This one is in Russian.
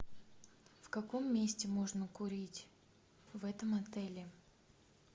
в каком месте можно курить в этом отеле